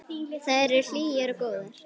Þær eru hlýjar og góðar.